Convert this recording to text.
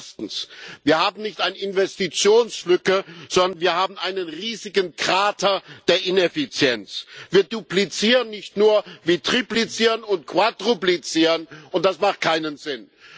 Erstens Wir haben nicht eine Investitionslücke, sondern wir haben einen riesigen Krater der Ineffizienz. Wir dupslizieren nicht nur, wir triplizieren und quadruplizieren, und das macht keinen Sinn!